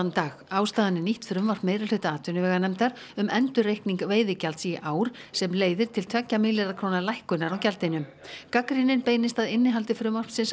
dag ástæðan er nýtt frumvarp meirihluta atvinnuveganefndar um endurreikning veiðigjalds í ár sem leiðir til tveggja milljarða króna lækkunar á gjaldinu gagnrýnin beinist að innihaldi frumvarpsins